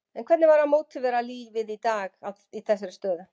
En hvernig var að mótivera liðið í dag í þessari stöðu?